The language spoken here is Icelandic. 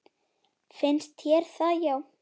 Finnst þér það já.